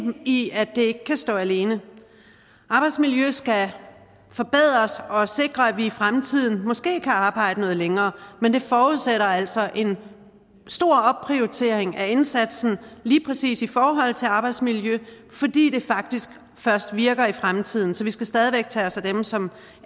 i at det ikke kan stå alene arbejdsmiljøet skal forbedres og sikre at vi i fremtiden måske kan arbejde noget længere men det forudsætter altså en stor opprioritering af indsatsen lige præcis i forhold til arbejdsmiljøet fordi det faktisk først virker i fremtiden så vi skal stadig væk tage os af dem som